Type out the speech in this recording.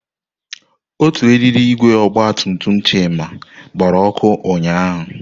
Otu eriri igwe ọgba tum tum Chima gbara ọkụ ụnyahụ.